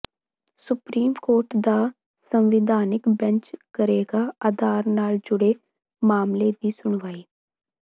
supreme court ਦਾ ਸੰਵਿਧਾਨਕ bench ਕਰੇਗਾ ਆਧਾਰ ਨਾਲ ਜੁੜੇ ਮਾਮਲੇ ਦੀ ਸੁਣਵਾਈ